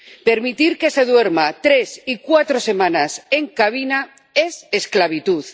Permitir que se duerma tres y cuatro semanas en cabina es esclavitud.